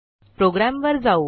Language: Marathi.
प्रोग्रॅमवर जाऊ